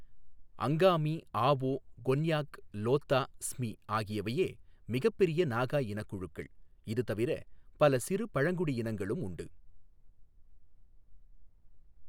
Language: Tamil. அங்காமி, ஆவோ, கொன்யாக், லோத்தா, ஸ்மி ஆகியவையே மிகப்பெரிய நாகா இனக்குழுக்கள், இது தவிர பல சிறு பழங்குடி இனங்களும் உள்ளன.